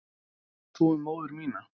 Hvað veist þú um móður mína?